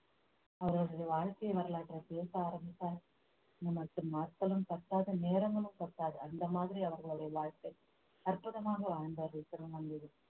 அவர்களுடைய வாழ்க்கை வரலாற்றை பேச ஆரம்பித்தால் நமக்கு நாட்களும் பத்தாது நேரங்களும் பத்தாது அந்த மாதிரி அவர்களுடைய வாழ்க்கை அற்புதமாக வாழ்ந்தார்கள் திருநங்கைகள்